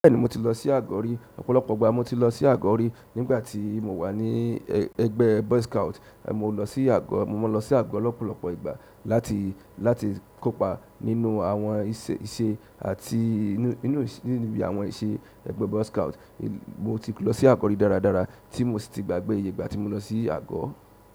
Bẹ́ẹ̀ni, mo ti lọ sí àgọ́ rí, ọ̀pọ̀lọpọ̀ ìgbà ni mo ti lọ sí àgọ́ rí nígbà tí mo wà ní ẹgbẹ́ boy scout. Mo máa lọ sí àgọ́ lọ̀pọ̀lọpọ̀ ìgbà láti, láti kópa nínú àwọn ìṣe àti nínú, nínú bi àwọn ìṣe ẹgbẹ́ boy scout. Mo ti lọ sí àgọ́ rí dáradára tí mo sì ti gbàgbé ìyè ìgbà tí mo lọ sí àgọ́.